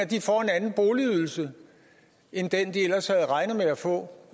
de får en anden boligydelse end den de ellers havde regnet med at få